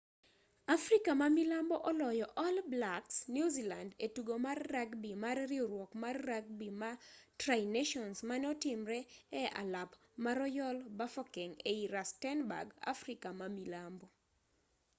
afrika ma milambo oloyo all blacks new zealand e tugo mar ragbi mar riwruok mar ragbi ma tri nations mane otimre e alap ma royal bafokeng ei rustenburg afrika ma milambo